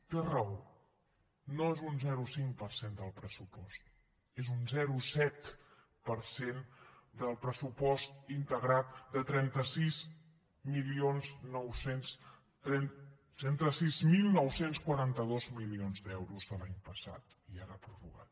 té raó no és un zero coma cinc per cent del pressupost és un zero coma set per cent del pressupost integrat de trenta sis mil nou cents i quaranta dos milions d’euros de l’any passat i ara prorrogat